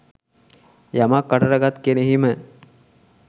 යමක් කටට ගත් කෙනෙහිම